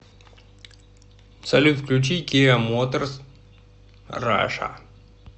салют включи киа моторс раша